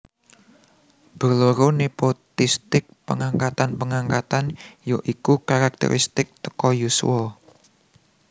Berloro nepotistic pengangkatan pengangkatan yoiku characteristic teko yuswa